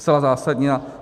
Zcela zásadně.